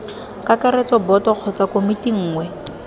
kakaretso boto kgotsa komiti nngwe